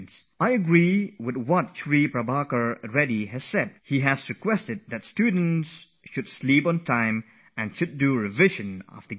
I agree with the message posted by Shri Prabhakar Reddy he has specially urged that one should go to sleep at a proper time and get up early in the morning to revise one's preparation